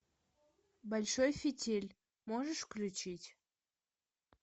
большой фитиль можешь включить